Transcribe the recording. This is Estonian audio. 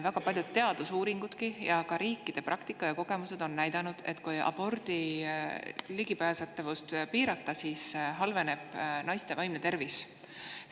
Väga paljud teadusuuringud, aga ka riikide praktika ja kogemused on näidanud, et kui abordi ligipääsetavust piirata, siis halveneb naiste vaimne tervis.